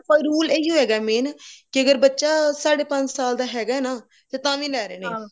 rule ਏਹਿਓ ਹੈਗਾ main ਕੇ ਅਗਰ ਬੱਚਾ ਸਾਡੇ ਪੰਜ ਸਾਲ ਦਾ ਹੈਗਾ ਨਾ ਤਾ ਤਾਵੀਂ ਲੈ ਰਹੇ ਨੇ